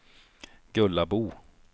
Gullabo